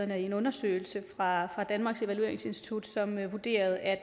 der i en undersøgelse fra danmarks evalueringsinstitut vurderede at